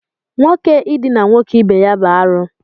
Nwoke idina nwoke ibe ya bụ arụ